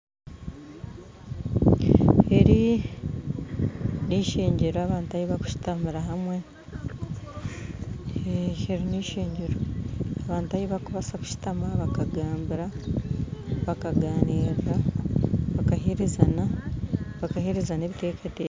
Eri nishengyero abantu ahi bakushitamira hamwe eeh eri nishengyero abantu ahi bakubaasa kushutama bakagamba, bakaganiira bakaheerezana ebiteekateeko